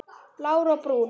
Blár og Brúnn.